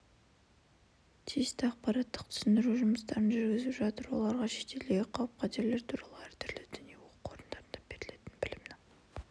тиісті ақпараттық-түсіндіру жұмыстарын жүргізіп жатыр оларға шетелдегі қауіп-қатерлер туралы әртүрлі діни оқу орындарында берілетін білімнің